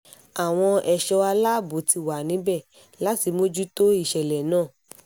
àwọn ẹ̀ṣọ́ aláàbò ti wà níbẹ̀ láti mójútó ìṣẹ̀lẹ̀ náà